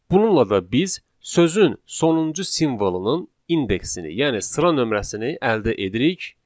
Bununla da biz sözün sonuncu simvolunun indeksini, yəni sıra nömrəsini əldə edirik